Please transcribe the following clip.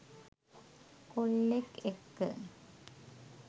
කොල්ලෙක් එක්ක.